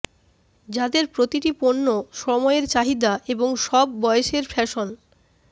যাদের প্রতিটি পণ্য সময়ের চাহিদা এবং সব বয়সের ফ্যাশন